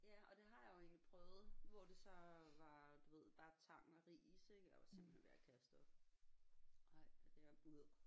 Ja og det har jeg jo egentlig prøvet hvor det så var du ved bare tang og ris jeg var simpelthen ved at kaste op ej det